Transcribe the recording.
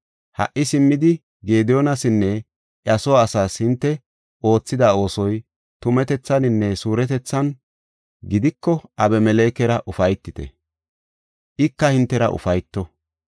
Ha77i simmidi Gediyoonasinne iya soo asaas hinte oothida oosoy tumatethaninne suuretethan gidiko Abimelekera ufaytite; ika hintera ufayto.